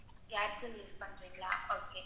Airtel use பண்றிங்களா okay.